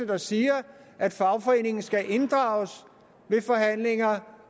der siger at fagforeningen skal inddrages ved forhandlinger